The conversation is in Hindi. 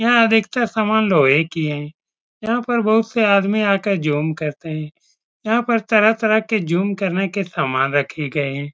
यहाँ अधिकतर समान लोहे की है। यहाँ पर बहोत से आदमी जोम करते है। यहाँ पर तरह-तरह के जोम करने के समान रखे गये हैं।